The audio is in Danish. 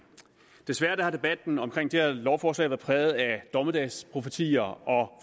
desværre har debatten omkring det her lovforslag været præget af dommedagsprofetier og